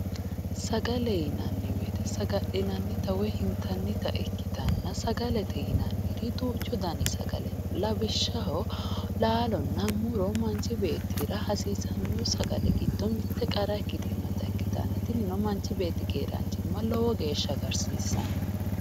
sagale yinanni woyte saga'linanni woy intannita ikkitanna sagalete yinanniri duuchu dani sagale no, lawishshaho, laalonna muro manchi beettira hasiissanno sagale giddo mitte qara ikkitinotta ikitanna tinino manchi beetti keeraanchimma lowo geeshhsha agartanno.